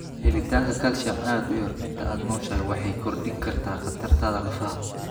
Helitaanka calcium aad u yar inta aad nooshahay waxay kordhin kartaa khatartaada lafaha.